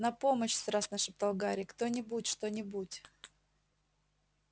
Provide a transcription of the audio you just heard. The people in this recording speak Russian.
на помощь страстно шептал гарри кто-нибудь что-нибудь